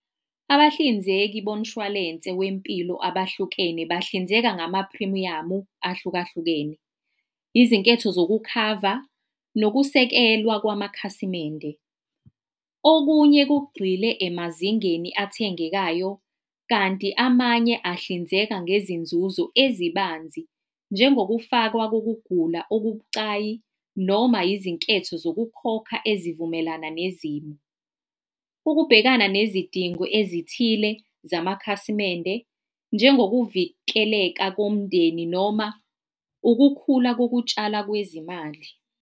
Abahlinzeki bomshwalense wempilo abahlukene bahlinzeka ngamaphrimiyamu ahlukahlukene, izinketho zokukhava, nokusekelwa kwamakhasimende. Okunye kugxile emazingeni athengekayo kanti amanye ahlinzeka ngezinzuzo ezibanzi njengokufakwa kokugula okubucayi, noma yizinketho zokukhokha ezivumelana nezimo. Ukubhekana nezidingo ezithile zamakhasimende, njengokuvikeleka komndeni, noma ukukhula kokutshala kwezimali.